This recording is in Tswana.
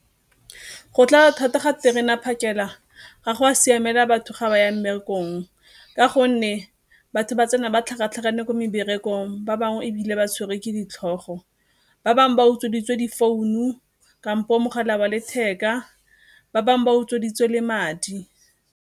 Go tlala thata ga terena phakela ga go a siamela batho ga ba ya mmerekong ka gonne batho ba tsena ba tlhakatlhakane ko meberekong ba bangwe ebile ba tshwerwe ke ditlhogo, ba bangwe ba utsweditswe di founu kampo mogala wa letheka, ba bangwe ba utsweditswe le madi.